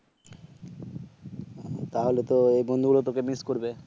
তাহলে তো ওই বন্ধু হল তোকে মিস করবে